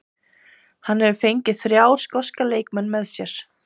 Hann hefur fengið þrjá skoska leikmenn með sér.